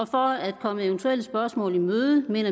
for at komme eventuelle spørgsmål i møde vil